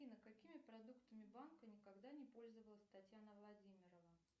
афина какими продуктами банка никогда не пользовалась татьяна владимировна